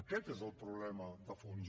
aquest és el problema de fons